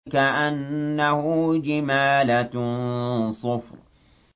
كَأَنَّهُ جِمَالَتٌ صُفْرٌ